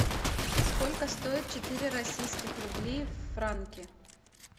сколько стоит четыре российских рублей в франки